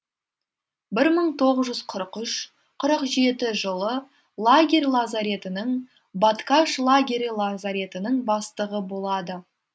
бір мың тоғыз жүз қырық үш қырық жеті жылы лагерь лазаретінің бадкаш лагері лазаретінің бастығы болады